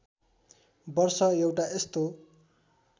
वर्ष एउटा यस्तो